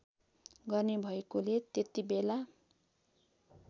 गर्ने भएकोले त्यतिबेला